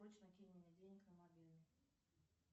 срочно кинь мне денег на мобильный